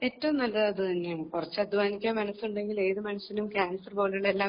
ഏറ്റവും നല്ലത് അതുതന്നെയാണ് കുറച്ച് അധ്വാനിക്കാൻ മനസ്സുണ്ടെങ്കിൽ ഏത് മനുഷ്യനും ക്യാൻസർ പോലെയുള്ള എല്ലാ